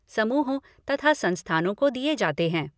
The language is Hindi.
समूहों तथा संस्थानों को दिये जाते हैं।